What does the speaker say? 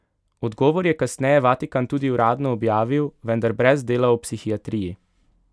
Odgovor je kasneje Vatikan tudi uradno objavil, vendar brez dela o psihiatriji.